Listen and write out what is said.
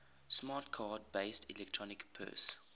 smart card based electronic purse